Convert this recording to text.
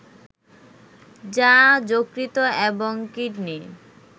যা যকৃত এবং কিডনি